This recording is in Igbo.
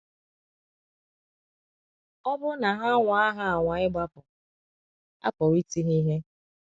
Ọ bụrụ na ha anwaa ha anwaa ịgbapụ, a pụrụ iti ha ihe.